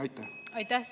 Aitäh!